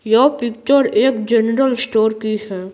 यह पिक्चर एक general store की है।